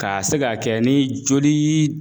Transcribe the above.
Ka se ka kɛ ni joli